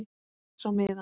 Les á miðann.